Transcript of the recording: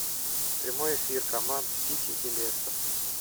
прямой эфир команд сити и лестер